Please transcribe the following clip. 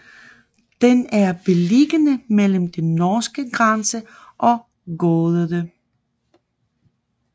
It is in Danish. Den er beliggende mellem den norske grænse og Gäddede